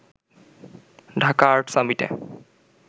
Dhaka art সামিটে